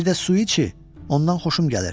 Bir də Suici, ondan xoşum gəlir.